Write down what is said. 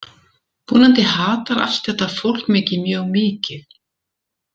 Vonandi hatar allt þetta fólk mig ekki mjög mikið.